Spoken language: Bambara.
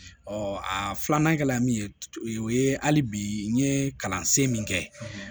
a filanan kɛla min ye o ye hali bi n ye kalansen min kɛ